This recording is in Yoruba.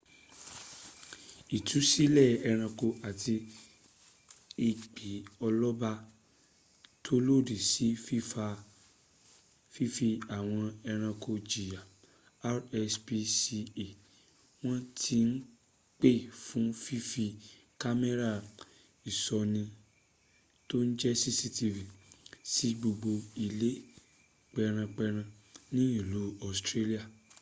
ìtúsílẹ̀ ęranko àti ęgbẹ́ ọlọ́ba tó lòdí sí fífi àwọn ẹranko jìyà rspca wọ́n ti ń pè fún fífí kámẹ́rà ìṣóni tó n jẹ́ cctv sí gbogbo ilé pęran pęran ní ìlú australian